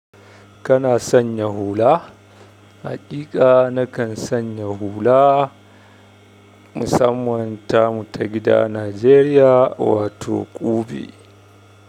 Kana sanya hula? Hakika nakan sanya hula. Musamman ta mu ta gida Nijeriya wato ƙube.